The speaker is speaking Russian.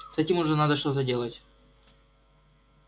с этим уже надо что-то делать